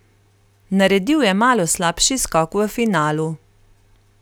Naredil je malo slabši skok v finalu.